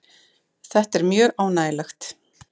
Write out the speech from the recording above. Þetta er mjög ánægjulegt